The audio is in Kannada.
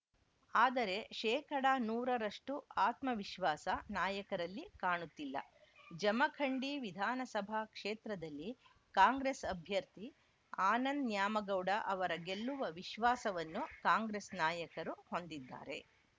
ಆದರೆ ಶೇಕಡಾ ನೂರ ರಷ್ಟುಆತ್ಮವಿಶ್ವಾಸ ನಾಯಕರಲ್ಲಿ ಕಾಣುತ್ತಿಲ್ಲ ಜಮಖಂಡಿ ವಿಧಾನಸಭಾ ಕ್ಷೇತ್ರದಲ್ಲಿ ಕಾಂಗ್ರೆಸ್‌ ಅಭ್ಯರ್ಥಿ ಆನಂದ್‌ ನ್ಯಾಮಗೌಡ ಅವರ ಗೆಲ್ಲುವ ವಿಶ್ವಾಸವನ್ನು ಕಾಂಗ್ರೆಸ್‌ ನಾಯಕರು ಹೊಂದಿದ್ದಾರೆ